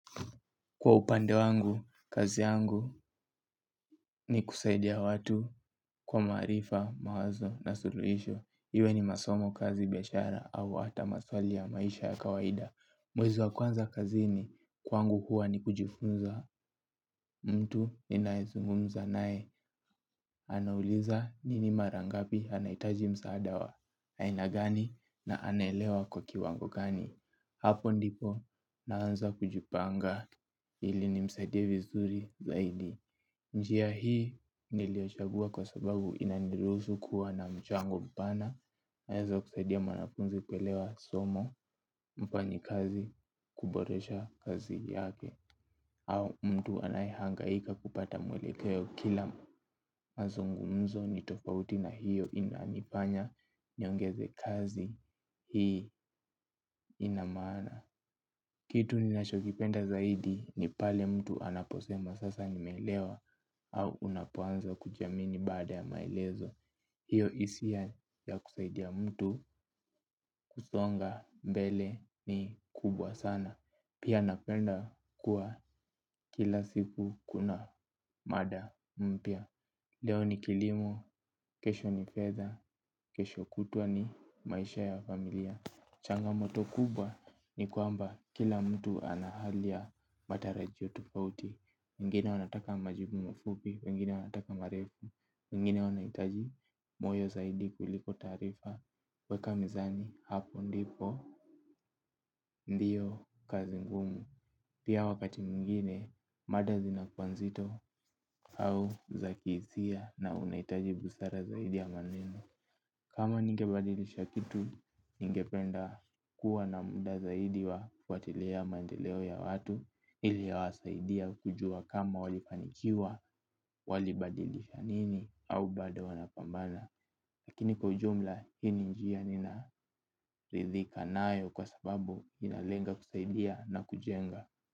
Kwa upande wangu, kazi yangu ni kusaidia watu kwa marifa, mawazo na suluhisho. Iwe ni masomo kazi biashara au hata maswali ya maisha ya kawaida. Mwezi wa kwanza kazini kwangu huwa ni kujifunza mtu ninaezungumza nae. Anauliza nini marangapi anaitaji msaada wa. Aina gani na anaelewa kwa kiwango gani. Hapo ndipo naanza kujipanga ili ni msaidie vizuri zaidi. Njia hii niliochagua kwa sababu inaniruhusu kuwa na mchango mpana, naeza kuzaidia mwanafunzi kuelewa somo, mfanyi kazi, kuboresha kazi yake, au mtu anayahangaika kupata mwelekeo kila mazungumzo nitofauti na hiyo inanifanya niongeze kazi hii inamana. Kitu ninachokipenda zaidi ni pale mtu anaposema sasa nimeelewa au unapoanza kujiamini bada ya maelezo. Hiyo hisia ya kusaidia mtu kusonga mbele ni kubwa sana. Pia napenda kuwa kila siku kuna mada mpya. Leo ni kilimo, kesho ni feda, kesho kutwa ni maisha ya familia. Changamoto kubwa ni kwamba kila mtu anahalia matarajio tofauti. Mwingine anataka majibu mafupi, mwingine anataka marefu, mwingine anaitaji moyo zaidi kuliko tarifa. Weka mizani hapo ndipo, ndiyo kazi ngumu. Pia wakati mwingine, mada zinakuwa nzito au zakizia na unaitaji busara zaidi ya maneni. Kama ninge badilisha kitu, ninge penda kuwa na muda zaidi wa kufatilia mandeleo ya watu. Iliwasaidia kujua kama walifanikiwa, walibadilisha nini, au bado wanapambana. Lakini kwajumla, hii njia ninaridhika nayo kwa sababu inalenga kusaidia na kujenga.